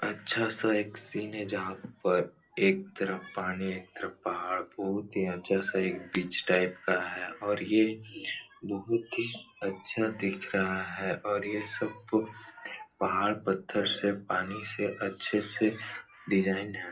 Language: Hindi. अच्छा सा एक सीन है जहाँ पर एक तरफ पानी एक तरफ पहाड़ बहुत ही अच्छा सा एक बीच टाइप का है और ये बहुत ही अच्छा दिख रहा है और यह सब कुछ पहाड़ पत्थर से पानी से अच्छे से डिजाईन है।